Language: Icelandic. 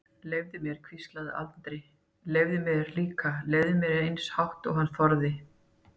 Leyfðu mér, hvíslaði Andri, leyfðu mér líka, leyfðu mér, eins hátt og hann þorði.